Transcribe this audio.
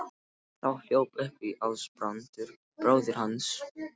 Þá hljóp upp Ásbrandur bróðir hans.